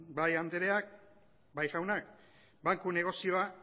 bai andreak bai jaunak banku negozioa